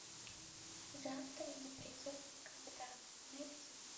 завтра не придет никогда найди